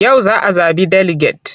Yau za a zaɓi deliget.